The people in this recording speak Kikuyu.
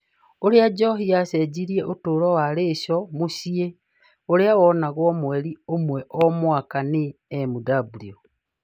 Ũrĩa njohi yacenjirie ũtũũro wa Rachel mũciĩ ũrĩa wonagwo mweri ũmwe o mwaka nĩ Mw.